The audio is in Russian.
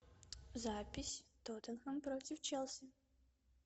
запись тоттенхэм против челси